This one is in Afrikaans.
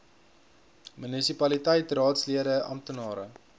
munisipaliteit raadslede amptenare